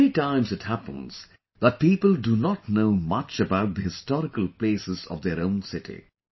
Many times it happens that people do not know much about the historical places of their own city